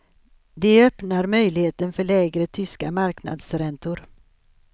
Det öppnar möjligheten för lägre tyska marknadsräntor.